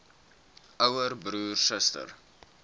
ouer broer suster